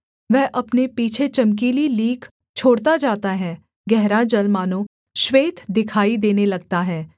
वह अपने पीछे चमकीली लीक छोड़ता जाता है गहरा जल मानो श्वेत दिखाई देने लगता है